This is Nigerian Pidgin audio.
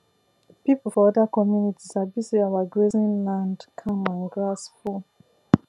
people for other community sabi say our grazing land calm and grass full